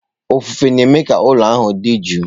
Ofufe na-eme ka ụlọ ahụ dị jụụ.